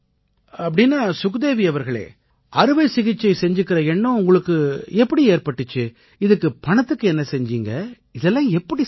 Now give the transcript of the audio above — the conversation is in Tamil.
அப்படீன்னா சுக்தேவீ அவர்களே அறுவை சிகிச்சை செஞ்சுக்கற எண்ணம் உங்களுக்கு எப்படி ஏற்பட்டிச்சு இதுக்கு பணத்துக்கு என்ன செஞ்சீங்க இதெல்லாம் எப்படி சாத்தியமாச்சு